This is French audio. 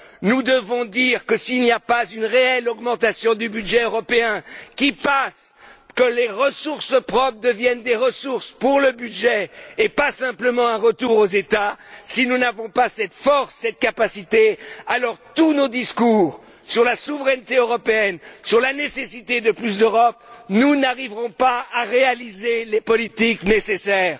Nous devons dire que s'il n'y a pas une réelle augmentation du budget européen qui fasse que les ressources propres deviennent des ressources pour le budget et pas simplement un retour aux États, si nous n'avons pas cette force, cette capacité, alors malgré tous nos discours sur la souveraineté européenne, sur la nécessité de plus d'Europe, nous n'arriverons pas à réaliser les politiques nécessaires.